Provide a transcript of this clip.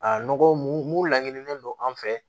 A nɔgɔ mun laɲinien don an fɛ